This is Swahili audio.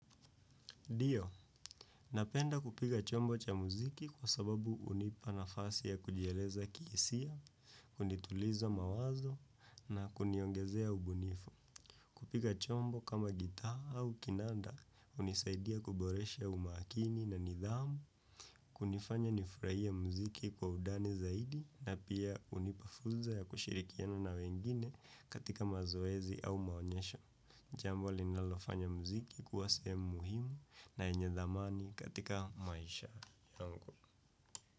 Ndio, napenda kupiga chombo cha muziki kwa sababu hunipa nafasi ya kujieleza kihisia, kunituliza mawazo na kuniongezea ubunifu. Kupiga chombo kama gitaa au kinanda, hunisaidia kuboresha umakini na nidhamu, kunifanya nifurahia muziki kwa undani zaidi, na pia hunipa fursa ya kushirikiana na wengine katika mazoezi au maonyesho. Jambo linalofanya mziki kuwa sehemu muhimu na yenye thamani katika maisha yangu.